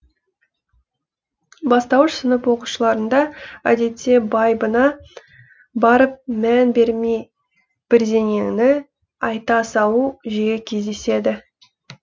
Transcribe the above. бастауыш сынып оқушыларында әдетте байыбына барып мән бермей бірдеңені айта салу жиі кездеседі